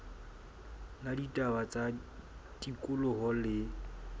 la ditaba tsa tikoloho le